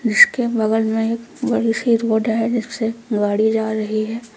जिसके बगल में एक बड़ी सी रोड है जिसपे गाड़ी जा रही है।